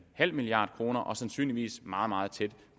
halv milliard kroner og sandsynligvis meget meget tæt